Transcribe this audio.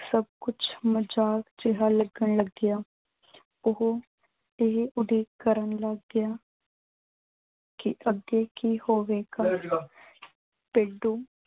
ਸਭ ਕੁੱਛ ਮਜ਼ਾਕ ਜਿਆ ਲੱਗਣ ਲੱਗਿਆ। ਓਹੋ ਤੇ ਓਹਦੇ ਕਰਨ ਲੱਗ ਗਿਆ ਕਿ ਅੱਗੇ ਕੀ ਹੋਵੇਗਾ । ਭੇਡੂ